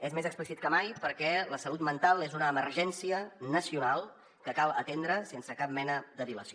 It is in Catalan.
és més explícit que mai perquè la salut mental és una emergència nacional que cal atendre sense cap mena de dilació